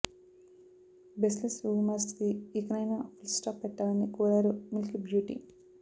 బెస్ less rumours కి ఇకనైనా full stop పెట్టాలని కోరారు మిల్క్ బ్యూటీ